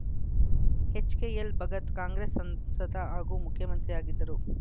HKL Bhagat Congress ಸಂಸದ ಹಾಗೂ ಮುಖ್ಯ ಮಂತ್ರಿಯಾಗಿದ್ದರು